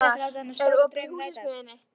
Elmar, er opið í Húsasmiðjunni?